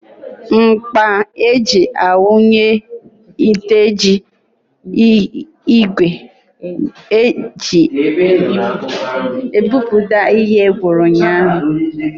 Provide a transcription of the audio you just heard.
Ńkpọ̀ eji a wunye oteji ígwè eji ebipụta ihe gwụrụ ụnyaahụ.